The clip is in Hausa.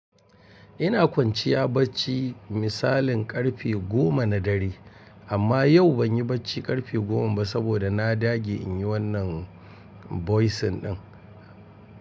Ina kwanciya bacci misalin karfe goma na dare amma yau ban yi bacci karfe goma ba saboda na dage in yi wannan voicing ɗin.